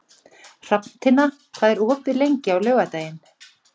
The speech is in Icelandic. Hrafntinna, hvað er opið lengi á laugardaginn?